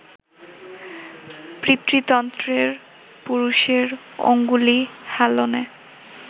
পিতৃতন্ত্রের, পুরুষের অঙ্গুলি হেলনে